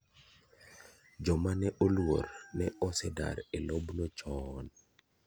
Joma ne oluor ne osedar e lob no choon.